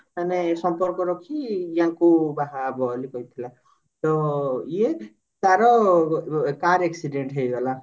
ମାନେ ସମ୍ପର୍କ ରଖି ଆଙ୍କୁ ବାହାହବ ବୋଲି କହିଥିଲା ତ ଇଏ ତାର car accident ହେଇଗଲା